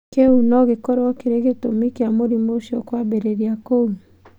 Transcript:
Kĩu nogĩkorwo kĩrĩ gĩtũmi kĩa mũrimũ ũcio kwambĩrĩria kũu.